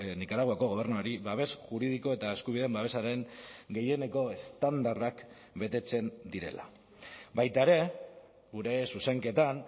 nikaraguako gobernuari babes juridiko eta eskubideen babesaren gehieneko estandarrak betetzen direla baita ere gure zuzenketan